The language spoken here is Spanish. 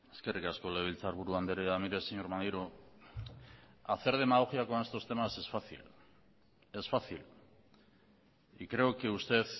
eskerrik asko legebiltzarburu andrea mire señor maneiro hacer demagogia con estos temas es fácil es fácil y creo que usted